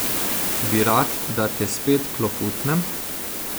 Bi rad, da te spet klofnem?